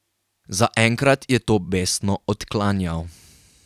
Zaenkrat je to besno odklanjal.